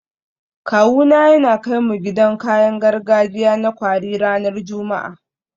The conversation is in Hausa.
Kawuna yana kai mu gidan kayan gargajiya na kwari ranar Juma'a